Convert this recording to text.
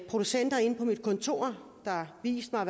producenter inde på mit kontor der har vist mig